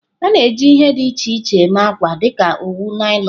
A na-eji ihe dị iche iche eme akwa dịka owu, naịlọn.